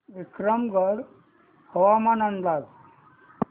विक्रमगड हवामान अंदाज